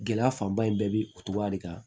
Gɛlɛya fanba in bɛɛ bɛ o cogoya de kan